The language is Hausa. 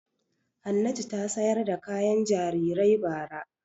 Hannatu ta sayar da kayan jarirai bara.